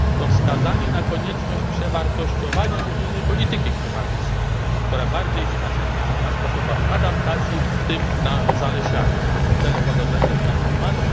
To wskazanie na konieczność przewartościowania unijnej polityki klimatycznej, która bardziej winna się skupić na sposobach adaptacji, w tym na zalesianiu celem łagodzenia zmian klimatu.